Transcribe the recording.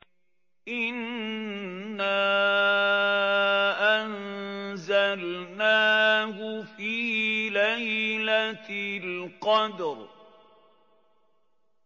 إِنَّا أَنزَلْنَاهُ فِي لَيْلَةِ الْقَدْرِ